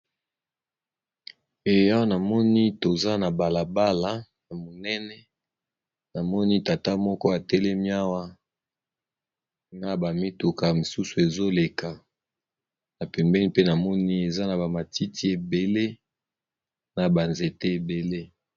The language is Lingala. Eh awa namoni toza na bala bala ya monene namoni tata moko atelemi awa na ba mituka mosusu ezo leka, na pembeni mpe namoni eza na ba matiti ebele na ba nzete ebele.